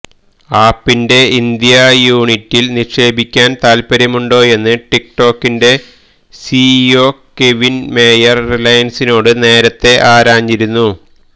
ആപ്പിന്റെ India യൂനിറ്റില് നിക്ഷേപിക്കാന് താത്പര്യമുണ്ടോയെന്ന് ടിക്ടോക്കിന്റെ C E O Kevin Mayer റിലയന്സിനോട് നേരത്തേ ആരാഞ്ഞിരുന്നു